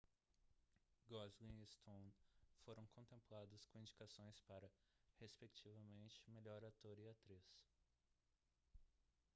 gosling e stone foram contemplados com indicações para respectivamente melhor ator e atriz